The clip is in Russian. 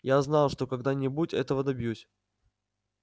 я знал что когда-нибудь этого добьюсь